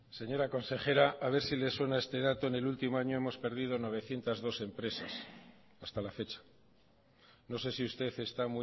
señora consejera a ver si le suena este dato en el último año hemos perdido novecientos dos empresas hasta la fecha no sé si usted está